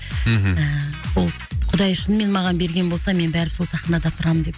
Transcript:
мхм ііі бұл құдай үшін мен маған берген болса мен бірібір сол сахнада тұрамын деп